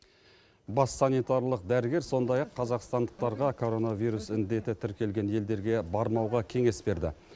бас санитарлық дәрігер сондай ақ қазақстандықтарға коронавирус індеті тіркелген елдерге бармауға кеңес берді